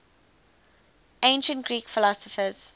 ancient greek philosophers